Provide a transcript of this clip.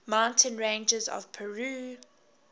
mountain ranges of peru